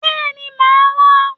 Bẹ́ẹ̀ni, màá wá.